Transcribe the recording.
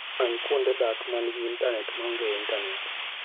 Many kuonde dak ma nigi intanet maonge intanet.